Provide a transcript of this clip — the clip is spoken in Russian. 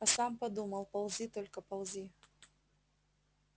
а сам думал ползи только ползи